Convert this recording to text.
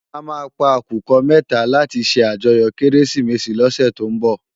À má pá àkúkò mètá làti sé àjòyò Kérésimési lòsè tó n bò